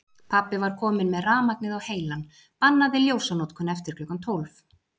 Pabbi var kominn með rafmagnið á heilann, bannaði ljósanotkun eftir klukkan tólf.